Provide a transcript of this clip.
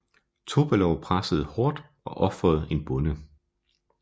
Topalov pressede hårdt og ofrede en bonde